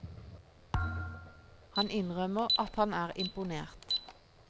Han innrømmer at han er imponert.